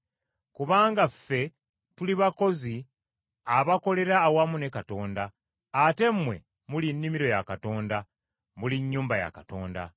Kubanga ffe tuli bakozi abakolera awamu ne Katonda, ate mmwe muli nnimiro ya Katonda, muli nnyumba ya Katonda.